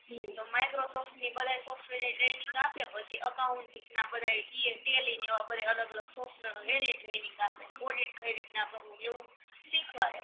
તો માઇક્રોસોફ્ટ ની બધાય સોફ્ટવેર ની ટ્રેનિંગ આપે પછી અકાઉન્ટટિંગ બધાય ઈએ ટેલિ એવા બધાય અલગ અલગ સોફ્ટવેરો એનિય ટ્રેનિંગ આપે ઓડિટ કઈ રીતના કરવું એવું શીખવાડે